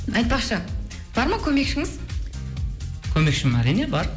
айтпақшы бар ма көмекшіңіз көмекшім әрине бар